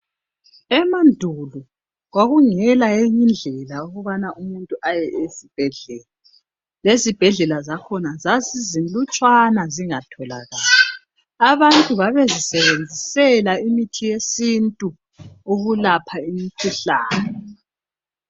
Emandulo kwakungela eyinye indlela yokubana umuntu aye esibhedlela. Lezibhedlela zakhona zazizinlutshwana zingatholakali. Abantu babezisebenzisela imiti yesintu ukulapha imikhuhlane.